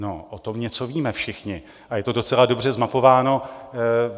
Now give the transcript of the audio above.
No, o tom něco víme všichni a je to docela dobře zmapováno.